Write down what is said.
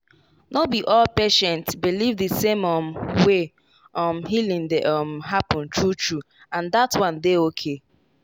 no be all patient believe the same um way um healing dey um happen true true—and that one dey okay.